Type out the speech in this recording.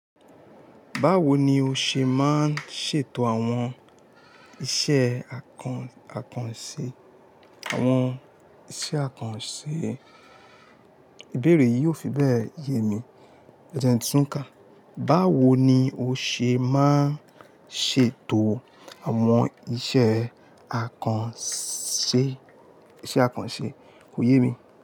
Báwo ni o ṣe máa ń ṣètò àwọn iṣẹ́ àkànṣe? Àwọn iṣẹ́ àkànṣe. Ìbéèrè yìí ò fi bẹ́ẹ̀ ye mi. Ẹjẹ n tún ká. Báwo ni o ṣe máa ń ṣètò àwọn iṣẹ́ àkànṣe, iṣẹ́ àkànṣe kò ye mi.